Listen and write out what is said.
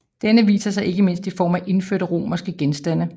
Denne viser sig ikke mindst i form af indførte romerske genstande